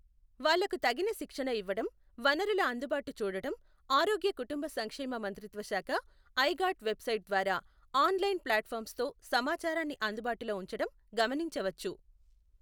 వాళ్ళకు తగిన శిక్షణ ఇవ్వటం, వనరుల అందుబాటు చూడటం, ఆరోగ్య కుఋంబ సంక్షేమ మంత్రిత్వశాఖ, ఐగాట్ వెబ్సైట్ ద్వారా ఆన్ లైన్ ప్లాట్ ఫామ్స్ తో సమాచారాన్ని అందుబాటులో ఉంచటం గమనించవచ్చు.